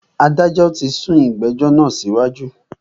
Adájọ tí sún ìgbẹ̀jọ́ náà síwájú.